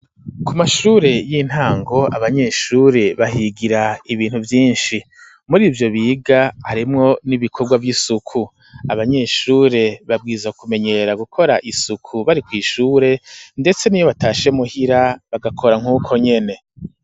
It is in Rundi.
ku mashure y'intango ,abanyeshure bahigira ibintu vyinshi ,muri ivyo biga harimwo n'ibikorwa vy'isuku ,abanyeshure babwiza kumenyera gukora isuku ,bari kw' ishure ndetse niyo batashe muhira ,bagakora nkuko nyene.